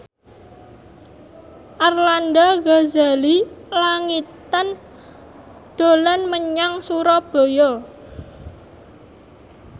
Arlanda Ghazali Langitan dolan menyang Surabaya